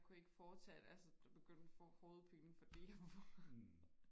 jeg kunne ikke fortsætte altså jeg begyndte og få hovedpine fordi